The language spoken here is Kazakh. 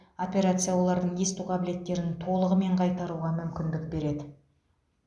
операция олардың есту қабілетін толығымен қайтаруға мүмкіндік береді